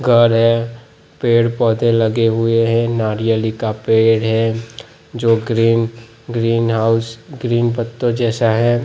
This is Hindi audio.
घर है पेड़ पौधे लगे हुए हैं नारियल का पेड़ है जो ग्रीन ग्रीन हाउस ग्रीन पत्तों जैसा है।